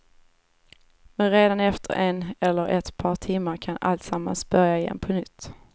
Men redan efter en eller ett par timmar kan alltsammans börja igen på nytt.